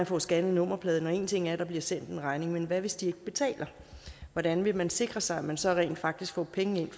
får scannet nummerpladen og en anden ting at der bliver sendt en regning men hvad hvis de ikke betaler hvordan vil man sikre sig at man så rent faktisk får penge ind